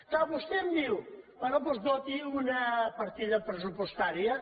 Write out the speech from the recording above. clar vostè em diu bé doncs doti una partida pres·supostària